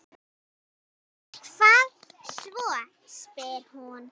Og hvað svo, spyr hún.